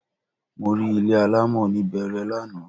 Mo rí ilé alámọ̀ ní Bẹẹrẹ lánàá